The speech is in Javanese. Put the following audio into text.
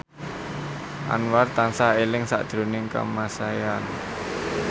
Anwar tansah eling sakjroning Kamasean